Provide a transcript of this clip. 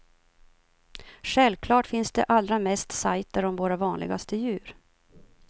Självklart finns det allra mest sajter om våra vanligaste djur.